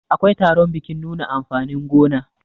akwai taron bikin nuna amfanin gona